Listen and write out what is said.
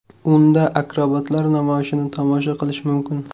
Unda akrobatlar namoyishini tomosha qilish mumkin.